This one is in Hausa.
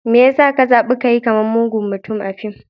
Me ya sa ka zabi ka yi kamar mugun mutum a fim?